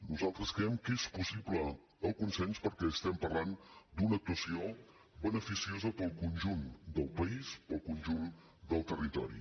nosaltres creiem que és possible el consens perquè estem parlant d’una actuació beneficiosa per al conjunt del país per al conjunt del territori